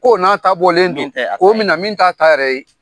Ko n'a ta bɔlen don, min tɛ a ta ye, k'o mina min t'a ta ye yɛrɛ.